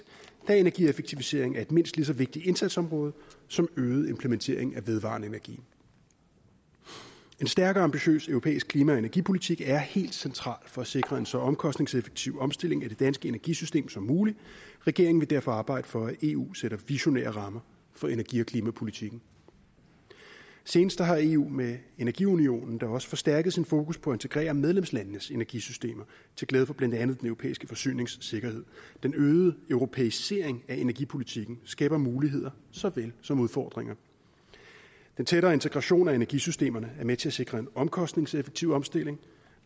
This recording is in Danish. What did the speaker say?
da energieffektivisering er et mindst lige så vigtigt indsatsområde som øget implementering af vedvarende energi en stærk og ambitiøs europæisk klima og energipolitik er helt central for at sikre en så omkostningseffektiv omstilling af det danske energisystem som muligt regeringen vil derfor arbejde for at eu sætter visionære rammer for energi og klimapolitikken senest har eu med energiunionen da også forstærkes sit fokus på at integrere medlemslandenes energisystemer til glæde for blandt andet den europæiske forsyningssikkerhed den øgede europæisering af energipolitikken skaber muligheder såvel som udfordringer den tættere integration af energisystemerne er med til at sikre en omkostningseffektiv omstilling